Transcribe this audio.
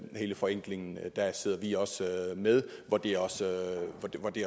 hele forenklingen der sidder vi også med hvor det også